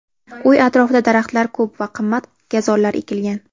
Uy atrofida daraxtlar ko‘p va qimmat gazonlar ekilgan.